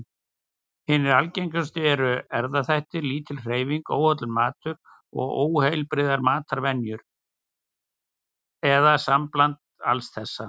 Hinar algengustu eru erfðaþættir, lítil hreyfing, óhollur matur og óheilbrigðar matarvenjur, eða sambland alls þessa.